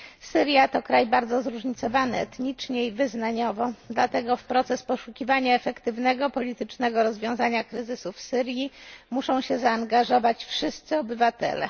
Syria to kraj bardzo zróżnicowany etnicznie i wyznaniowo, dlatego w proces poszukiwania efektywnego, politycznego rozwiązywania kryzysu w Syrii muszą się zaangażować wszyscy obywatele.